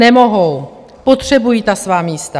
Nemohou, potřebují ta svá místa.